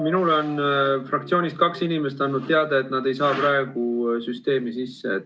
Minule on fraktsioonist kaks inimest andnud teada, et nad ei saa praegu süsteemi sisse.